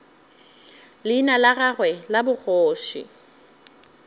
leina la gagwe la bogoši